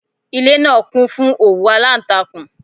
Ilé náà kún fún òwú alántakùn